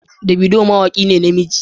Davido mawaki ne na namiji.